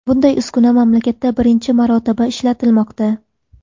Bunday uskuna mamlakatda birinchi marotaba ishlatilmoqda.